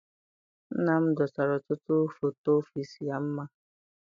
Nna m dosara ọtụtụ foto ọfịịsi ya mma.